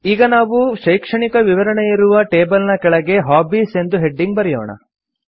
ಈಗ ನಾವು ಶೈಕ್ಷಣಿಕ ವಿವರಣೆಯಿರುವ ಟೇಬಲ್ ನ ಕೆಳಗೆ ಹಾಬೀಸ್ ಎಂದು ಹೆಡಿಂಗ್ ಬರೆಯೋಣ